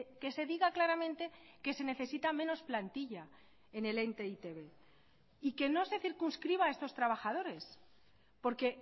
que se diga claramente que se necesita menos plantilla en el ente e i te be y que no se circunscriba a estos trabajadores porque